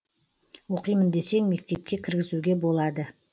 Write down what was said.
оқимын десең мектепке кіргізуге болады